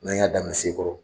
N'an y'a dainɛ Sekɔrɔ.